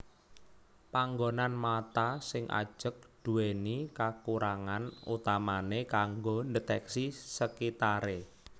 Panggonan mata sing ajeg duwéni kakurangan utamane kanggo ndeteksi sekitare